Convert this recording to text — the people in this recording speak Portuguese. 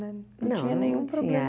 Não tinha nenhum problema. Não não tinha